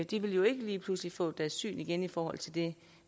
de vil jo ikke lige pludselig få deres syn igen i forhold til det